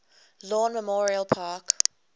lawn memorial park